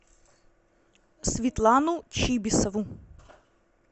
светлану чибисову